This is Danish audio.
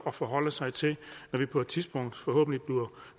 at forholde sig til når vi på et tidspunkt forhåbentlig bliver